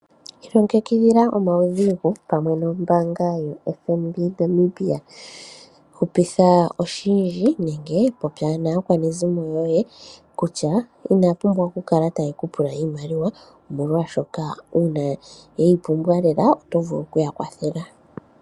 Ilongekidhila omaudhigu pamwe nombaanga yotango yopashigwana, popya naakwanezimo yoye kutya inaya pumbwa okukala taye kupula iimaliwa ethimbo kehe oshoka iimaliwa ethimbo limwe ohayi kala yili kombaanga yaningila uuna ngele pwaholoka uudhigu.